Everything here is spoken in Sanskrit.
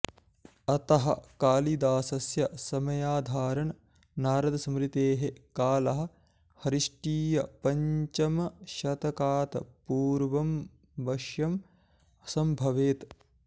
अतः कालिदासस्य समयाधारण नारदस्मृतेः कालः ख्रीष्टीयपञ्चमशतकात् पूर्वमवश्यं सम्भवेत्